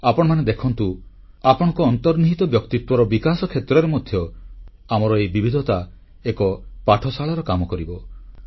ଆପଣମାନେ ଦେଖନ୍ତୁ ଆପଣଙ୍କ ଅନ୍ତର୍ନିହିତ ବ୍ୟକ୍ତିତ୍ୱର ବିକାଶ କ୍ଷେତ୍ରରେ ମଧ୍ୟ ଆମର ଏହି ବିବିଧତା ଏକ ପାଠଶାଳାର କାମ କରିବ